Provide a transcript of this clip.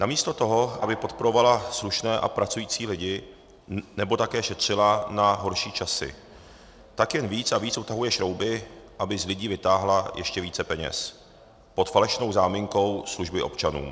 Namísto toho, aby podporovala slušné a pracující lidi nebo také šetřila na horší časy, tak jen víc a víc utahuje šrouby, aby z lidí vytáhla ještě více peněz pod falešnou záminkou služeb občanům.